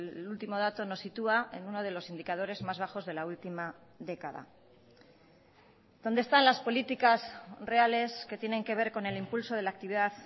el último dato nos sitúa en uno de los indicadores más bajos de la última década dónde están las políticas reales que tienen que ver con el impulso de la actividad